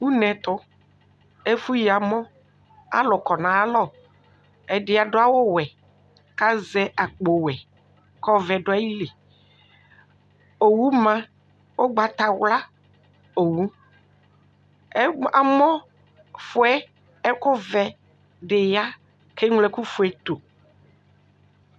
Une ɛtʋ, ɛfʋyi amɔ, alʋ kɔ nʋ ayalɔ. Ɛdɩ adʋ awʋwɛ kʋ azɛ akpowɛ kʋ ɔvɛ dʋ ayili. Owu ma. Ʋgbatawla owu. Ɛb amɔ ɛfʋ yɛ ɛkʋvɛ dɩ ya kʋ eŋlo ɛkʋfue tʋ.